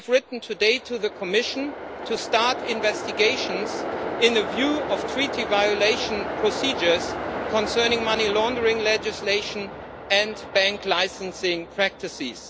We have written today to the Commission to start investigations regarding Treaty violation procedures concerning money laundering legislation and bank licensing practices.